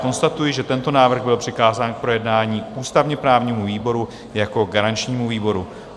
Konstatuji, že tento návrh byl přikázán k projednání ústavně-právnímu výboru jako garančnímu výboru.